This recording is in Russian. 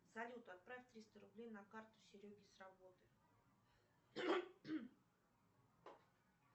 салют отправь триста рублей на карту сереге с работы